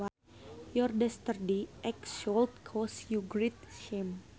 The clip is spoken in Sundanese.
Your dastardly act should cause you great shame